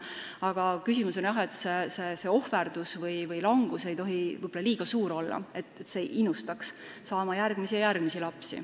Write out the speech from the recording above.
Aga küsimus on jah see, et see ohverdus või langus ei tohi võib-olla liiga suur olla, nii et see innustaks saama järgmisi ja järgmisi lapsi.